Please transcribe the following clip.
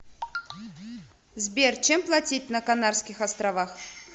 сбер чем платить на канарских островах